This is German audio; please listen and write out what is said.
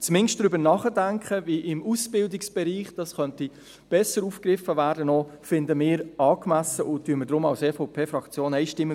Zumindest finden wir ein Darübernachdenken angemessen, wie dies im Ausbildungsbereich besser aufgegriffen werden könnte, und unterstützen es deshalb als EVP-Fraktion einstimmig.